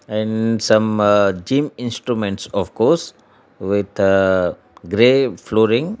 and some ah gym instruments ofcourse with ah grey flooring.